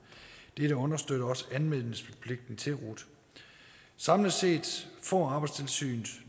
det understøtter også anmeldelsespligten til rut samlet set får arbejdstilsynet